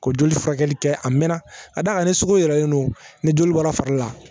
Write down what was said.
Ko joli furakɛli kɛ a mɛɛnna ka d'a kan ni sugu yɛlɛlen don ni joli bɔra fari la